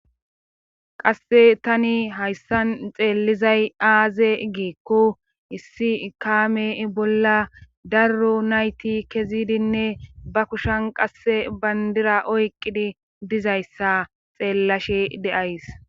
Qasse tani hayssan xeellizay aaze geekko issi ikame bolla darro nayti kezidinne ba kushan qasse bayndira oyqqidi dizayssa xeellashe deays